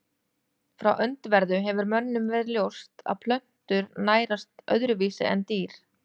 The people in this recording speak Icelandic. Frá öndverðu hefur mönnum verið ljóst að plöntur nærast öðruvísi en dýr.